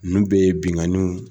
Ninnu bɛɛ ye binnkanniw